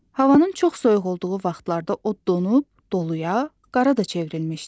Havanın çox soyuq olduğu vaxtlarda o donub dolu, qara da çevrilmişdi.